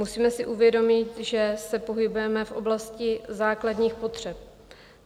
Musíme si uvědomit, že se pohybujeme v oblasti základních potřeb.